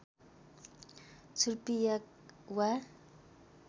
छुर्पी याक वा